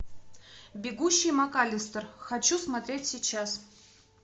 бегущий макаллистер хочу смотреть сейчас